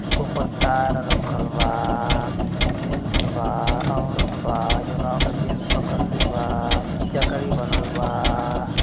ऊपर तार रखलवाबा जेन्स बा ओरत बा जउना जेन्स पकड़ ले बाचकरी बनल बा।